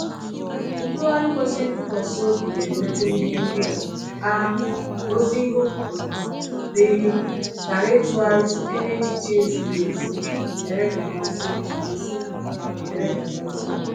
Ntụgharị kwesịrị ntụkwasị obi ga-emekwa ihe ndị a: (a) gosi ihe okwu pụtara, (b) ghara ịtụgharịsite n’echiche ezighi ezi, wdg. ezi, wdg.